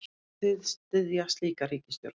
Munið þið styðja slíka ríkisstjórn?